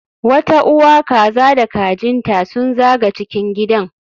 Wata uwa kaza da kajin ta sun zaga cikin gidan